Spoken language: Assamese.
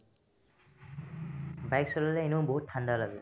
bike চলালে এনেও বহুত ঠাণ্ডা লাগে ।